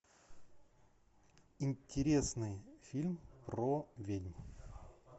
интересный фильм про ведьм